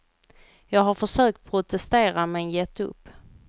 Jag har försökt protestera men gett upp.